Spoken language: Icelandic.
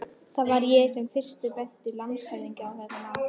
Það var ég sem fyrstur benti landshöfðingja á þetta mál.